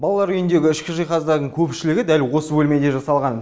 балалар үйіндегі ішкі жиһаздардың көпшілігі дәл осы бөлмеде жасалған